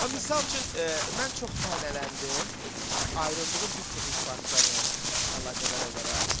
Misal üçün mən çox tənələndim ayrıldığım bir çox ifaçılarından əlaqədar olaraq.